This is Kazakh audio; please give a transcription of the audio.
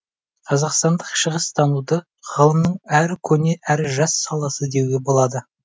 қазақстандық шығыстануды ғылымның әрі көне әрі жас саласы деуге болады